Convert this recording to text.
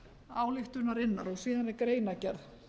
ályktunarinnar síðan er greinargerð